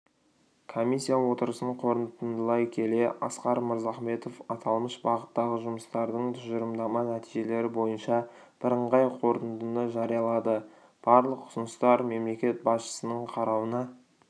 комиссия отырысын қорытындылай келе асқар мырзахметов аталмыш бағыттағы жұмыстардың тұжырымдама нәтижелері бойынша бірыңғай қорытындыны жариялады барлық ұсыныстар мемлекет басшысының қарауына